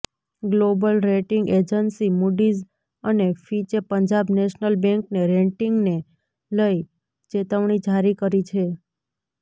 global rating agency Moody's અને ફિચે Punjab national બેંકને રેટિંગને લઇ ચેતવણી જારી કરી છે